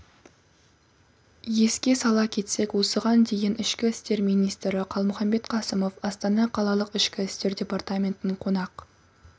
еске сала кетсек осыған дейін ішкі істер министрі қалмұханбет қасымов астана қалалық ішкі істер департаментін қонақ